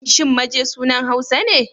Shin Maje sunan Hausa ne?